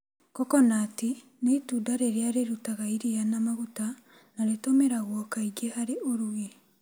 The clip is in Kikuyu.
Kokonati nĩ itunda rĩrĩa rĩrutaga iria na maguta, na rĩtũmĩragwo kaingĩ harĩ ũrugi.